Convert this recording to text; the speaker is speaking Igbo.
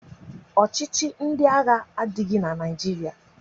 Ọchịchị ndị agha adịghị na Naịjirịa